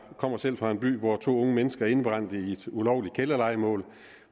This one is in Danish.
kommer selv fra en by hvor to unge mennesker indebrændte i et ulovligt kælderlejemål